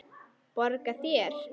Borga þér?